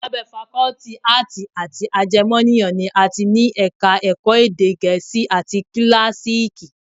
Lábẹ́ Fakọ́tì Áàtì àti Ajẹmọ́nìyàn ni a ti ní Ẹ̀ka-ẹ̀kọ́ Èdè Gẹ̀ẹ́sì, àti Kíláàsììkì